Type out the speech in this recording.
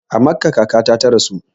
A Makkah kakata ta rasu